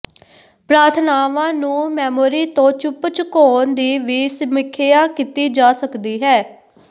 ਪ੍ਰਾਰਥਨਾਵਾਂ ਨੂੰ ਮੈਮੋਰੀ ਤੋਂ ਚੁੱਪ ਚੁਕਾਉਣ ਦੀ ਵੀ ਸਮੀਖਿਆ ਕੀਤੀ ਜਾ ਸਕਦੀ ਹੈ